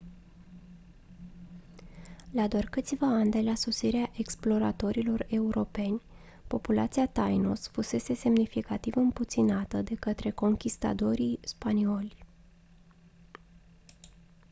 la doar câțiva ani de la sosirea exploratorilor europeni populația tainos fusese semnificativ împuținată de către conchistadorii spanioli